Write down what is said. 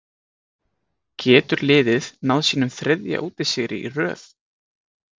Getur liðið náð sínum þriðja útisigri í röð?